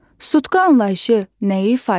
Sutka anlayışı nəyi ifadə edir?